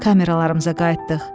Kameralarımıza qayıtdıq.